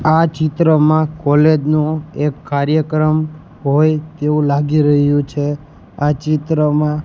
આ ચિત્રમાં કોલેજ નુ એક કાર્યક્રમ હોય તેવુ લાગી રહ્યુ છે આ ચિત્રમાં --